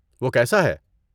وہ کیسا ہے؟